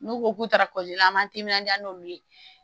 N'u ko k'u taara la an m'an timinanja n'olu ye